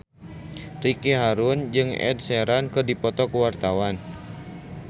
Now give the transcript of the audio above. Ricky Harun jeung Ed Sheeran keur dipoto ku wartawan